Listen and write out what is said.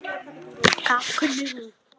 Hvað kunni hún?